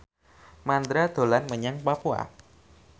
Mandra dolan menyang Papua